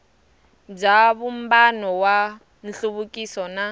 bya vumbano wa nhluvukiso na